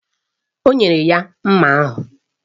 O nyere ya mma ahụ.